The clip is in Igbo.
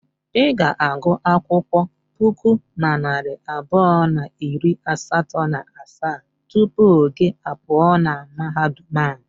I ga-agụ akwụkwọ puku na narị abụọ na iri asatọ na asaa tupu gị a pụọ na mahadum a.